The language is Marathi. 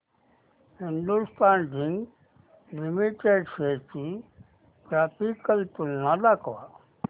हिंदुस्थान झिंक लिमिटेड शेअर्स ची ग्राफिकल तुलना दाखव